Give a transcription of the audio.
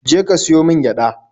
Je ka siyo min gyada!